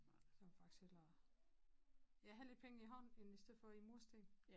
Så vil faktisk hellere ja have lidt penge i hånd end i stedet for i mursten